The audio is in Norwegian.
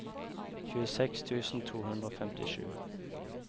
tjueseks tusen to hundre og femtisju